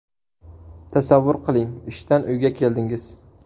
Tasavvur qiling, ishdan uyga keldingiz.